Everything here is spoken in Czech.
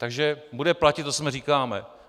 Takže bude platit to, co sami říkáme.